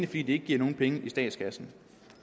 fordi det ikke giver nogen penge i statskassen